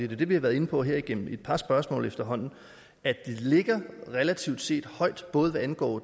det vi har været inde på her igennem et par spørgsmål efterhånden det ligger relativt set højt både hvad angår